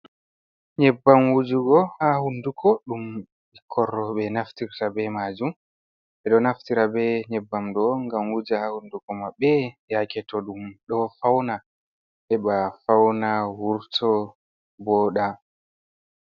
Nyebbam wujugo haa hunnduko, ɗum ɓikkon rowɓe naftirta be maajum. Ɓe ɗo naftira be nyebbam ɗo, ngam wuja haa hunnduko maɓɓe, yaake to ɗum ɗo fawna, heɓa fawna wurto wooɗa.